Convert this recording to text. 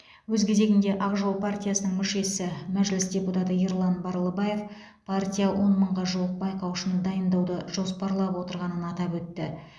өз кезегінде ақ жол партиясының мүшесі мәжіліс депутаты ерлан барлыбаев партия он мыңға жуық байқаушыны дайындауды жоспарлап отырғанын атап өтті